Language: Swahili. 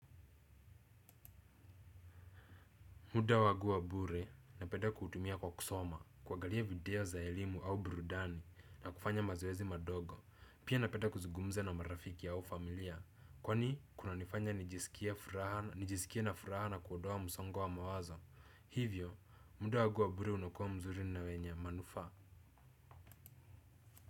Muda wangu wa bure napenda kutumia kwa kusoma kuangalia video za elimu au burudani na kufanya mazoezi madogo pia napenda kuzungumza na marafiki au familia kwani kunanifanya nijisikie furaha nijisikie na furaha na kuondoa msongo wa mawazo hivyo muda wangu wa bure unakuwa mzuri na wenye manufa.